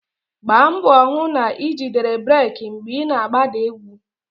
Gbaa mbọ hụ na ijidere breeki mgbe ị na-agbada ugwu